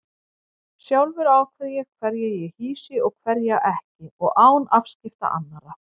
Sjálfur ákveð ég hverja ég hýsi og hverja ekki og án afskipta annarra.